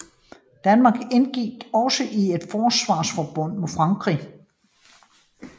Danmark indgik også i et forsvarsforbund med Frankrig